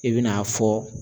I bɛ n'a fɔ